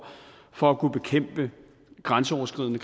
for at kunne bekæmpe grænseoverskridende